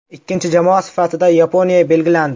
Ikkinchi jamoa sifatida Yaponiya belgilandi.